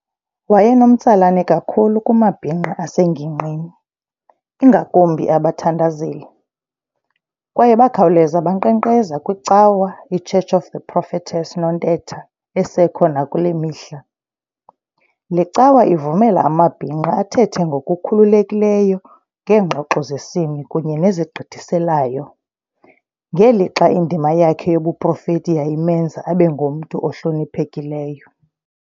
Wayenomtsalane kakhulu kumabhinqa asengingqini, ingakumbi abathandazeli, kwaye bakhawuleza bankqenkqeza kwicawa I"Church of the Prophetess Nontetha" esekho nakulemihla. Le cawa ivumela amabhinqa athethe ngokukhululekileyo ngeengxoxo zesini kunye nezigqithiselayo, ngelixa indima yakhe yobuprofeti yayimenza abengumntu ohloniphekileyo.